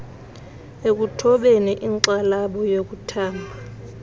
ekuthobeni inxalabo yokuthamba